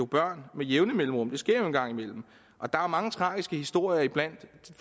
børn med jævne mellemrum det sker jo en gang imellem og der er mange tragiske historier iblandt